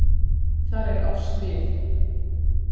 Þar er árs bið.